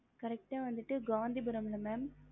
correct வந்துட்டு காந்திபுரம் இல்ல mam